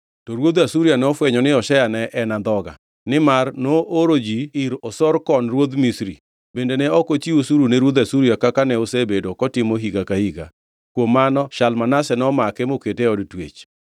To ruodh Asuria nofwenyo ni Hoshea ne en andhoga, nimar nooro ji ir Osorkon ruodh Misri, bende ne ok ochiw osuru ne ruodh Asuria kaka ne osebedo kotimo higa ka higa. Kuom mano Shalmaneser nomake mokete e od twech.